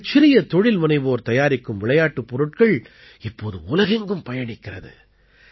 இந்தச் சிறிய தொழில்முனைவோர் தயாரிக்கும் விளையாட்டுப் பொருட்கள் இப்போது உலகெங்கும் பயணிக்கிறது